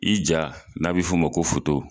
I ja n'a be f'o ma ko foto